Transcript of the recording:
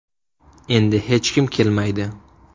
Endi hech kim kelmaydi.